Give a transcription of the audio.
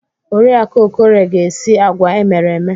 Oriakụ Okorie ga-esi agwa emere eme.